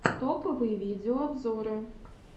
топовые видеообзоры